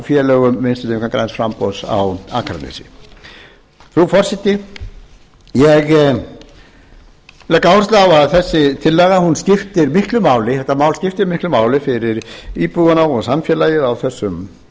félögum vinstri hreyfingarinnar græns framboðs á akranesi frú forseti ég legg áherslu á að þessi tillaga skiptir miklu máli þetta mál skiptir miklu máli fyrir íbúana og samfélagið á